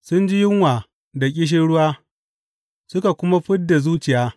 Sun ji yunwa da ƙishirwa, suka kuma fid da zuciya.